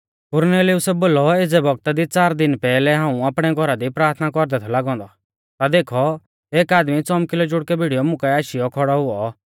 कुरनेलियुसै बोलौ एज़ै बौगता दी च़ार दिन पैहलै हाऊं आपणै घौरा दी प्राथना कौरदै थौ लागौ औन्दौ ता देखौ एक आदमी च़ौमकिलौ जुड़कै भिड़ीयौ मुकाऐ आशीयौ खौड़ौ हुऔ